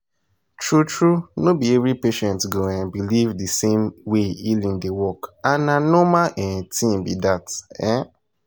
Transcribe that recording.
true true no be every patient go um believe the same way healing dey work and na normal um thing be that. um